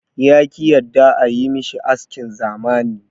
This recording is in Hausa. Ya ki yadda a yi mashi askin zamani.